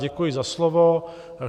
Děkuji za slovo.